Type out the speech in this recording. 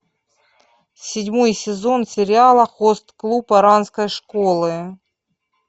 седьмой сезон сериала хост клуб оранской школы